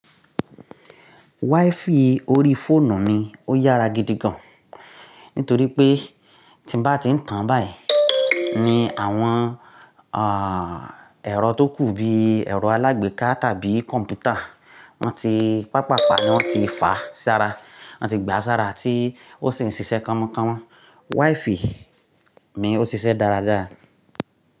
Wi-Fi orí fóònù mi ó yára gidi gan-an nítorí pé tí bá ti ń tàn báyìí, ni àwọn ẹrọ tó kù bí ẹrọ alágbèéká tàbí kọ̀m̀pútà wọn ti pàpàá pa á, ní wọ́n ti fà sí ara, wọ́n ti gbà sára tí ó sì ń ṣiṣẹ́ kánmọkánmọ. Wi-Fi mi ó ṣiṣẹ́ dáradára.